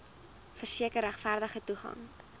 verseker regverdige toegang